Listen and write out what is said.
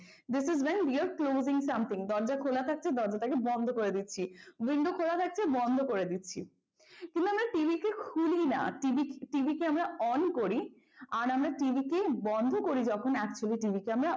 this is when you are closing something দরজা খোলা থাকলে দরজা টাকে বন্ধ করে দিচ্ছি window খোলা থাকলে বন্ধ করে দিচ্ছি কিন্তু আমরা TV কে খুলিনা TV কে আমরা on করি আর আমরা TV কে বন্ধ করি যখন actually TV কে আমরা,